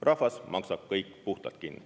Rahvas maksab kõik puhtalt kinni.